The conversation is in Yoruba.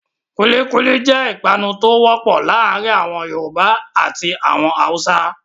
Kulíkúlí jẹ́ ìpanu tó wọ́pọ̀ láàárin àwọn Yorùbá àti àwọn Haúsá.